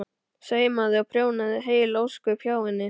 Saumaði og prjónaði heil ósköp hjá henni.